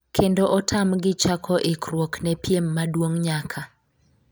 kendo otamgi chako ikruok ne piem maduong' nyaka